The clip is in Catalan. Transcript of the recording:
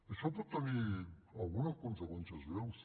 això pot tenir algunes conseqüències greus